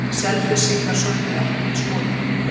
Selfyssingar sömdu ekki við Skotann